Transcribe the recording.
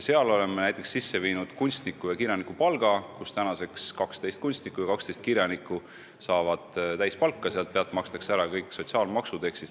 Me oleme ka kehtestanud kunstniku- ja kirjanikupalga: 12 kunstnikku ja 12 kirjanikku saavad täispalka, millelt makstakse kõik sotsiaalmaksud.